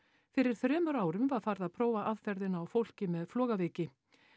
fyrir þremur árum var farið að prófa aðferðina á fólki með flogaveiki